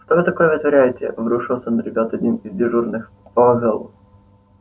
что вы такое вытворяете обрушился на ребят один из дежурных по вокзалу